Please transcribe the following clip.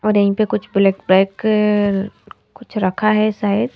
और यहीं पे कुछ ब्लैक ब्लैक कुछ रखा है शायद।